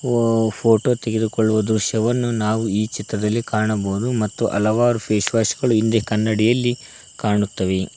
ಒಬ್ಬ ಫೋಟೋ ತೆಗೆದುಕೊಳ್ಳುವ ದೃಶ್ಯವನ್ನು ನಾವು ಈ ಚಿತ್ರದಲ್ಲಿ ಕಾಣಬಹುದು ಮತ್ತು ಹಲವಾರು ಫೇಸ್ ವಾಶ್ ಗಳು ಹಿಂದೆ ಕನ್ನಡಿಯಲ್ಲಿ ಕಾಣುತ್ತವೆ.